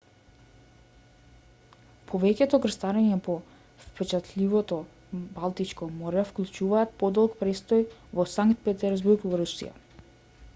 повеќето крстарења по впечатливото балтичко море вклучуваат подолг престој во санкт петерсбург во русија